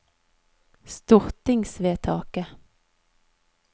stortingsvedtaket